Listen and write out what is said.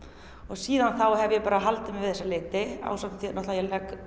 og síðan þá hef ég bara haldið mig við þessa liti ásamt því að ég legg